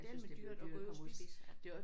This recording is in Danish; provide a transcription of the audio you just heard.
Jeg synes det er blevet dyrt at komme ud at spise ja